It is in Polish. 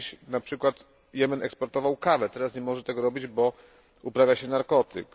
Kiedyś, na przykład, Jemen eksportował kawę, teraz nie może tego robić, bo uprawia się narkotyk.